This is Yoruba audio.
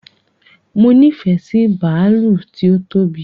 Mo nifẹ sí bàálù tí ó tóbi